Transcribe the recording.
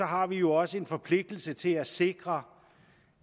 har vi jo også en forpligtelse til at sikre